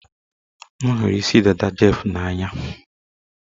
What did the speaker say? M hụrụ isi dada Jeff n'anya